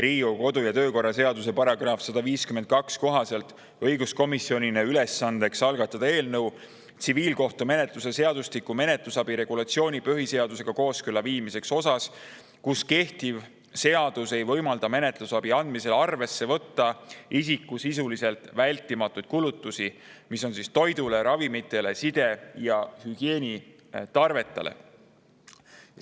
Riigikogu kodu‑ ja töökorra seaduse § 152 kohaselt tehti õiguskomisjonile ülesandeks algatada eelnõu tsiviilkohtumenetluse seadustiku menetlusabi regulatsiooni põhiseadusega kooskõlla viimiseks osas, kus kehtiv seadus ei võimalda menetlusabi andmisel arvesse võtta isiku vältimatuid kulutusi toidule, ravimitele ning side‑ ja hügieenitarvetele.